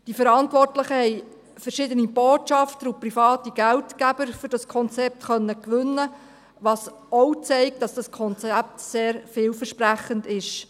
Die Verantwortlichen haben verschiedene Botschafter und private Geldgeber für dieses Konzept gewinnen können, was auch zeigt, dass dieses Konzept sehr vielversprechend ist.